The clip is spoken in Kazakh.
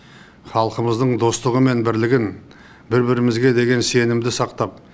халқымыздың достығы мен бірлігін бір бірімізге деген сенімді сақтап